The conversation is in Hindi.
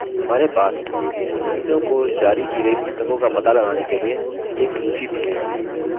हमारे पास सदस्यों को जारी की गयी पुस्तकों का पता लगाने के लिए एक सूची भी है